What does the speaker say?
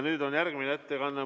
Nüüd on järgmine ettekanne.